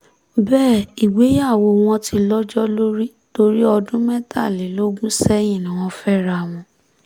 bẹ́ẹ̀ ìgbéyàwó wọn ti lọ́jọ́ lórí torí ọdún mẹ́tàlélógún sẹ́yìn ni wọ́n fẹ́ra wọn